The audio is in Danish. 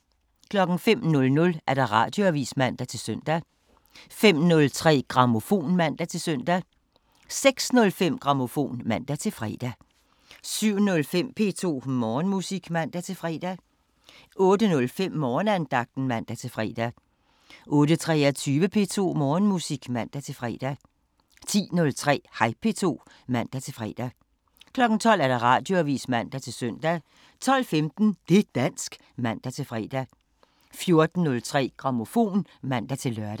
05:00: Radioavisen (man-søn) 05:03: Grammofon (man-søn) 06:05: Grammofon (man-fre) 07:05: P2 Morgenmusik (man-fre) 08:05: Morgenandagten (man-fre) 08:23: P2 Morgenmusik (man-fre) 10:03: Hej P2 (man-fre) 12:00: Radioavisen (man-søn) 12:15: Det' dansk (man-fre) 14:03: Grammofon (man-lør)